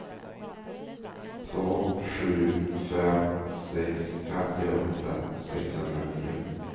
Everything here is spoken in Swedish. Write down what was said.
två sju fem sex femtioåtta sexhundranio